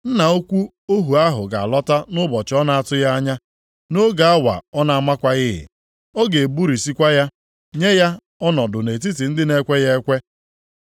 Nna ukwu ohu ahụ ga-alọta nʼụbọchị ọ na-atụghị anya, nʼoge awa ọ na-amakwaghị. Ọ ga-egburisikwa ya, nye ya ọnọdụ nʼetiti ndị na-ekweghị ekwe.